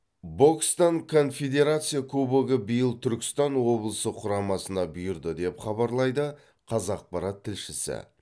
бокстан конфедерация кубогы биыл түркістан облысы құрамасына бұйырды деп хабарлайды қазақпарат тілшісі